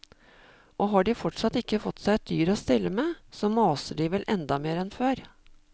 Og har de fortsatt ikke fått seg et dyr å stelle med, så maser de vel enda mer enn før.